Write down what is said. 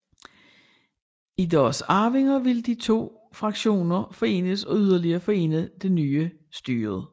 I deres arvinger ville de to fraktioner forenes og yderligere forene det nye styre